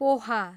poha